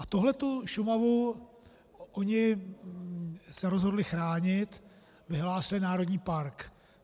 A tuhletu Šumavu oni se rozhodli chránit, vyhlásili národní park.